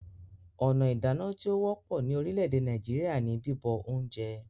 Ọ̀nà ìdáná tí ó wọ́pọ̀ ní orílẹ̀-èdè Nàìjíríà ní bíbọ oúnjẹ